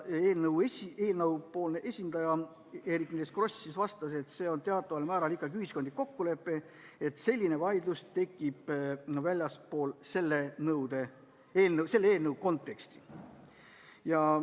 Eelnõu esindaja Eerik-Niiles Kross vastas, et see on teataval määral ikkagi ühiskondlik kokkulepe, selline vaidlus tekib väljaspool selle eelnõu konteksti.